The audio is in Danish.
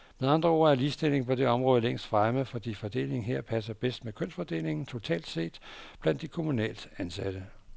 Med andre ord er ligestillingen på det område længst fremme, fordi fordelingen her passer bedst med kønsfordelingen totalt set blandt de kommunalt ansatte.